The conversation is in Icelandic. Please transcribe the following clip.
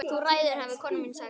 Þú ræður hafði kona mín sagt.